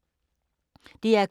DR K